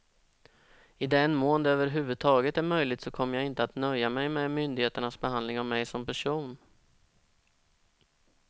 I den mån det över huvud taget är möjligt så kommer jag inte att nöja mig med myndigheternas behandling av mig som person.